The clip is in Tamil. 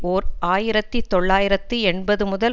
ஓர் ஆயிரத்தி தொள்ளாயிரத்து எண்பது முதல்